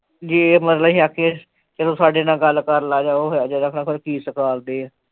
ਜੇ ਮਤਲਬ ਅਸੀ ਆਖੀਏ, ਚਲੋ ਸਾਡੇ ਨਾਲ ਗੱਲ ਕਰ ਲੈ ਜਾਵੇ ਉਹ ਹੈ ਜੋ ਪਤਾ ਨਹੀਂ ਕਿ ਸਿਖਾਲਦੇ ਹੈ